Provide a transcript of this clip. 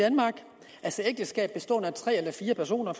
ægteskab bestående af tre eller fire personer